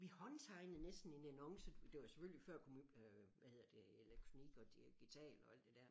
Vi håndtegnede næsten en annonce det var selvfølgelig før hvad hedder det elektronik og digital og alt det der men